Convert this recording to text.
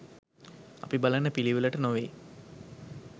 අපි බලන පිළිවෙළට නොවෙයි.